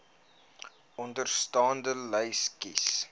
onderstaande lys kies